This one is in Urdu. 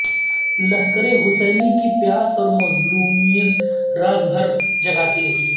لشکر حسینی کی پیاس اور مظلومیت رات بھر جگاتی رہی